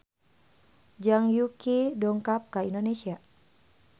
Zhang Yuqi dongkap ka Indonesia